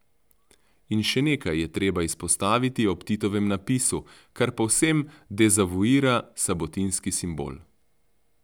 In še nekaj je treba izpostaviti ob Titovem napisu, kar povsem dezavuira sabotinski simbol.